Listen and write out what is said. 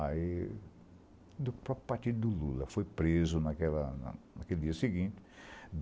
Aí, do próprio partido do Lula, foi preso naquela naquele dia seguinte.